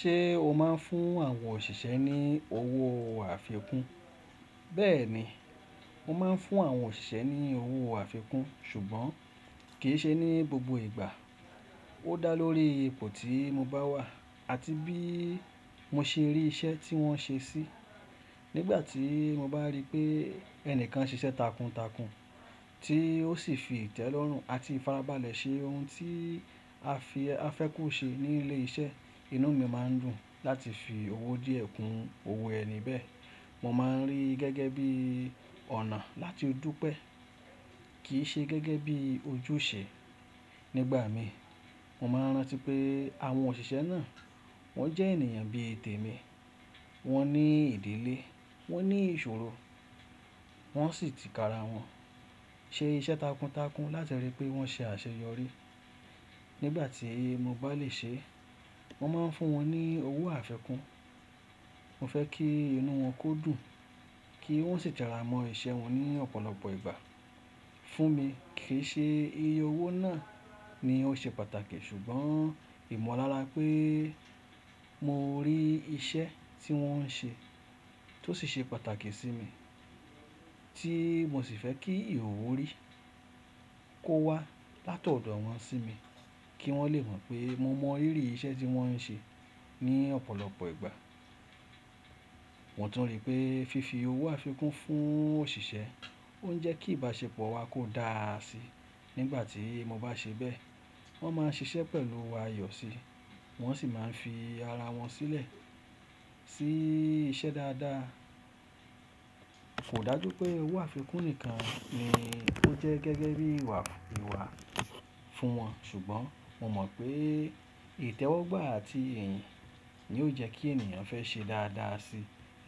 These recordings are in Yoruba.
Ṣé o máa ń fún àwọn òṣìṣẹ́ ní owó àfikún? Bẹ́ẹ̀ ni, mo máa ń fún àwọn òṣìṣẹ́ ní owó àfikún ṣùgbọ́n kì í ṣe ní gbogbo ìgbà. Ó dá lórí ipò tí mo bá wà àti bí mo ṣe rí iṣẹ́ tí wọ́n ṣe sí. Nígbà tí mo bá rí pé ẹnìkan ń ṣiṣẹ́ takuntakun tí ó sì fi ìtẹ́lọ́rùn àti ìfarabalẹ̀ ṣe ohun tí a fẹ́ kó ṣe ní ilé iṣẹ́, inú mi máa ń dùn láti fi owó díẹ̀ kún owó ẹni bẹ́ẹ̀. Mo máa ń rí i gẹ́gẹ́ bí ọ̀nà láti du pé, kì í ṣe gẹ́gẹ́ bí ojúṣe. Nígbà mi, mo máa ń rántí pé àwọn òṣìṣẹ́ náà wọ́n jẹ́ ènìyàn bí tè mi. Wọ́n ní ìdílé, wọ́n ní ìṣòro, wọ́n sì ti kara wọn ṣe iṣẹ́ takuntakun láti rí i pé wọ́n ṣe àṣeyọrí. Nígbà tí mo bá lè ṣe é, mo máa ń fún wọn ní owó àfikún. Mo fẹ́ kí inú wọn kó dùn, kí wọ́n sì jara mọ iṣẹ́ wọn ní ọ̀pọ̀lọpọ̀ ìgbà. Fún mi kì í ṣe iye owó náà ni ó ṣe pàtàkì ṣùgbọ́n ìmọ̀lára pé mo rí iṣẹ́ tí wọ́n ń ṣe tó sì ṣe pàtàkì sí mi tí mo sì fẹ́ kí ìhuuhu rí i kó wá láti ọ̀dọ̀ wọn sí mi kí wọ́n lè mọ̀ pé mo mọ rírì iṣẹ́ tí wọ́n ń ṣe ní ọ̀pọ̀lọpọ̀ ìgbà. Mo tún rí pé fífi owó àfikún fún òṣìṣẹ́ ó ń jẹ́ kí ìbáṣepọ̀ wa kó dáa sí. Nígbà tí mo bá ṣe bẹ́ẹ̀, wọ́n máa ń ṣiṣẹ́ pẹ̀lú ayọ̀ sí, wọ́n sì máa ń fi ara wọn sílẹ̀ sí iṣẹ́ dáadáa. Kò dájú pé owó àfikún nìkan ni ó jẹ́ gẹ́gẹ́ bí ìwà ìwà fún wọn ṣùgbọ́n mo mọ̀ pé ìtẹ́wọ́gbà àti iyìn ni ó jẹ kí ènìyàn fẹ́ ṣe dáadáa sí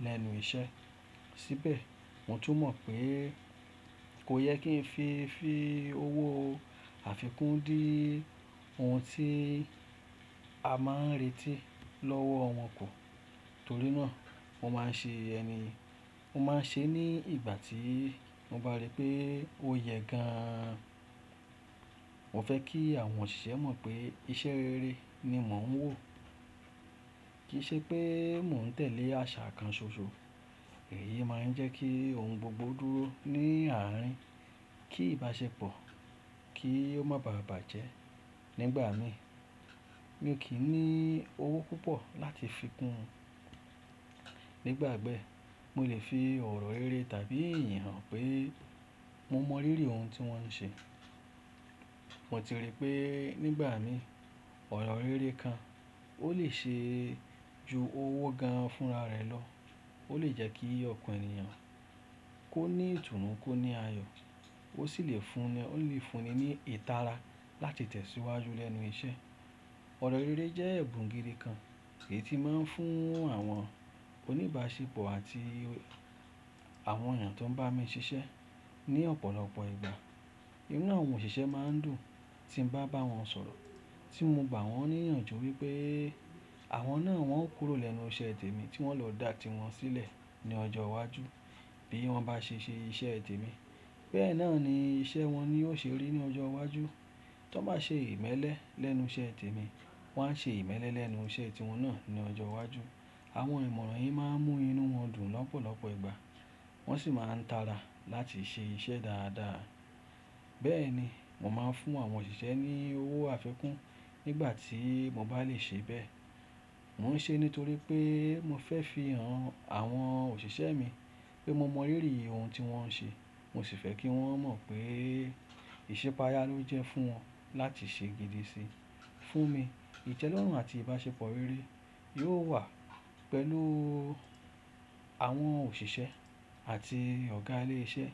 lẹ́nu iṣẹ́. Síbẹ̀ mo tún mọ̀ pé kò yẹ kí n fi fi owó àfikún dí òun tí a máa ń retí lọ́wọ́ wọn kù. Torí náà mo máa ń ṣe ẹni, mo máa ń ṣe é ní ìgbà tí mo bá rí pé ó yẹ gan an. Mo fẹ́ kí àwọn òṣìṣẹ́ mọ̀ pé iṣẹ́ rere ni mò ń wò, kì í ṣe pé mò ń tẹ̀lé àṣà kan ṣoṣo. Èyí máa ń jẹ́ kí ohun gbogbo dúró ní àárín kí ìbáṣepọ̀ kì ó máa bàbàjẹ́. Nígbà mi, mi ò kí ń ní owó púpọ̀ láti fi kún. Nígbà bẹ́, mo lè fi ọ̀rọ̀ rere tàbí iyìn hàn pé mo mọ rírì i ohun tí wọ́n ń ṣe. Mo ti rí pé nígbà mi ọ̀rọ̀ rere kan ó lè ṣe ju owó gan an fúnra rẹ̀ lọ. Ó lè jẹ́ kí ọkàn ènìyàn kó ní ìtùnú kó ní ayọ̀ ó sì lè fúnni ní ìtara láti tẹ̀síwájú lẹ́nu iṣẹ́. Ọ̀rọ̀ rere jẹ́ ẹ̀bùn gidi kan èyí tí máa ń fún àwọn oníbáṣepọ̀ àti àwọn ènìyàn tó ń bá mi ṣiṣẹ́ ní ọ̀pọ̀lọpọ̀ ìgbà. Inú àwọn òṣìṣẹ́ máa ń dùn tí mo bá bá wọn sọ̀rọ̀ tí mo gbà wọ́n níyànjú wípé àwọn náà wọ́n kúrò lẹ́nu iṣẹ́ tè mi tí wọ́n lọ dà tí wọn sílẹ̀ ní ọjọ́ iwájú bí wọ́n bá ṣe ṣe iṣẹ́ tè mi. Bẹ́ẹ̀ náà ni iṣẹ́ wọn ni yóò ṣe rí ní ọjọ́ iwájú. Tí wọ́n bá ṣe ìmẹ́lẹ́ lẹ́nu iṣẹ́ tè mi wọ́n á ṣe ìmẹ́lẹ́ lẹ́nu iṣẹ́ tí wọn náà ní ọjọ́ iwájú. Àwọn ìmọ̀ràn yìí máa ń mú inú wọn dùn lọ́pọ̀lọpọ̀ ìgbà wọ́n sì máa ń tara láti ṣe iṣẹ́ dáadáa. Bẹ́ẹ̀ ni, mo máa ń fún àwọn òṣìṣẹ́ ní owó àfikún nígbà tí mo bá lè ṣe bẹ́ẹ̀. Mo ń ṣe é nítorí pé mo fẹ́ fi hàn àwọn òṣìṣẹ́ mi pé mo mọ rírì i ohun tí wọ́n ń ṣe. Mo sì fẹ́ kí wọ́n mọ̀ pé ìṣipa ayá ló jẹ́ fún wọn láti ṣe gidi si. Fún mi, ìtẹ́lọ́rùn àti ìbáṣepọ̀ rere yóò wà pẹ̀lú àwọn òṣìṣẹ́ àti ọ̀gá ilé iṣẹ́.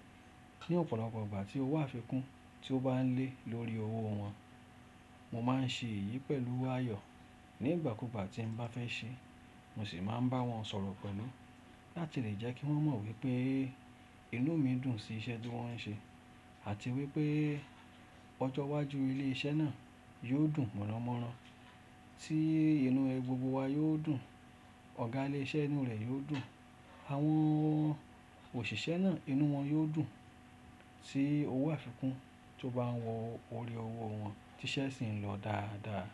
Ni ọ̀pọ̀lọpọ̀ ìgbà tí owó àfikún tí ó bá ń lé lórí owó wọn, mo máa ń ṣe èyí pẹ̀lú ayọ̀. Ní ìgbà kúùgbà tí mo bá fẹ́ ṣe é, mo sì máa ń bá wọn sọ̀rọ̀ pẹ̀lú láti lè jẹ́ kí wọ́n mọ̀ wípé inú mi dùn sí iṣẹ́ tí wón ń ṣe àti wípé ọjọ́ iwájú ilé iṣẹ́ náà yóò dùn mọ̀nàmọ́ná tí inú gbògbò wa yóò dùn. Ọ̀gá ilé iṣẹ́ inú rẹ̀ yóò dùn, àwọn òṣìṣẹ́ náà inú wọn yóò dùn tí owó àfikún tó bá wọ ori owó wọn tí iṣẹ́ sì ń lọ dáadáa.